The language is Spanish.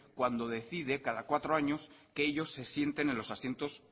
cuando decide cada cuatro años que ellos se sienten en los asientos